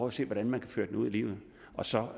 at se hvordan man kan føre det ud i livet og så